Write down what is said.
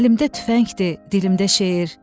Əlimdə tüfəngdir, dilimdə şeir.